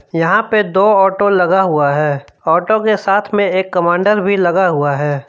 यहां पे दो ऑटो लगा हुआ है ऑटो के साथ में एक कमांडर भी लगा हुआ है।